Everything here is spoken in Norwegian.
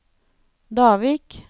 Davik